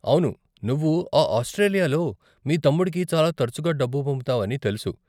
అవును, నువ్వు ఆ ఆస్ట్రేలియాలో మీ తమ్ముడికి చాలా తరచుగా డబ్బు పంపుతావని తెలుసు.